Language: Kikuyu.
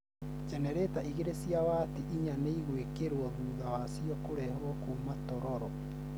jenereta igĩrĩ cia wati inya nĩigũĩkĩrwo thutha wacio kũrehwo kuuma tororo